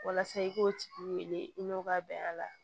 Walasa i k'o tigi wele i n'o ka bɛn a la